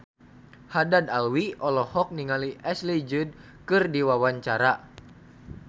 Haddad Alwi olohok ningali Ashley Judd keur diwawancara